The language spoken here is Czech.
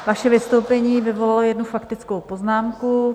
Vaše vystoupení vyvolalo jednu faktickou poznámku.